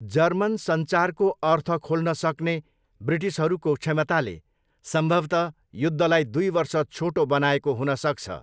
German सञ्चारको अर्थ खोल्न सक्ने ब्रिटिसहरूको क्षमताले सम्भवतः युद्धलाई दुई वर्ष छोटो बनाएको हुनसक्छ।